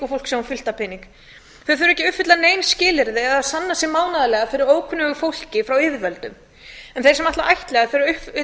fólk sem á fullt af peningum þau þurfa ekki að uppfylla nein skilyrði eða sanna sig mánaðarlega fyrir ókunnugu fólki frá yfirvöldum en þeir sem ætla að ættleiða þurfa að uppfylla